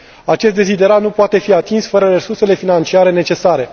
Acest deziderat nu poate fi atins fără resursele financiare necesare.